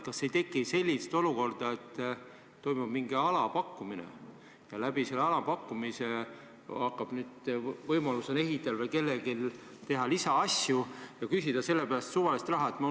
Kas ei teki sellist olukorda, et toimub mingisugune alapakkumine ja läbi selle alapakkumise hakkab nüüd ehitaja või keegi teine võimaluse korral tegema lisaasju ja saab selle tulemusena küsida suvalist raha?